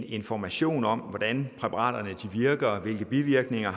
information om hvordan præparaterne virker hvilke bivirkninger